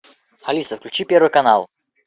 алиса включи первый канал